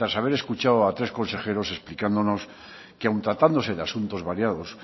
haber escuchado a tres consejeros explicándonos que aun tratándose de asuntos variados